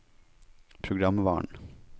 programvaren